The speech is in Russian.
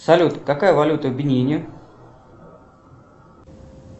салют какая валюта в бенине